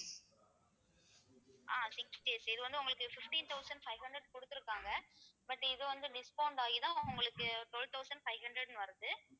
ஆஹ் six days இது வந்து உங்களுக்கு fifteen thousand five hundred குடுத்திருக்காங்க but இது வந்து discount ஆகிதான் உங்களுக்கு twelve thousand five hundred ன்னு வருது